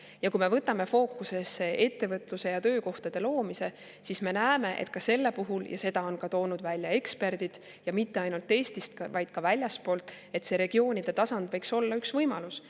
Ja kui me võtame fookusesse ettevõtluse ja töökohtade loomise, siis me näeme, et ka selle puhul – seda on toonud välja eksperdid, ja mitte ainult Eestist, vaid ka väljastpoolt – see regioonide tasand võiks olla üks võimalus.